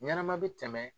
Ɲɛnɛma bi tɛmɛ